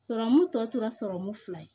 Sɔrɔmu tɔ tora sɔrɔmu fila ye